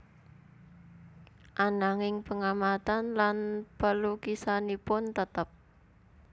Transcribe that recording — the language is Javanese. Ananging pengamatan lan pelukisanipun tetep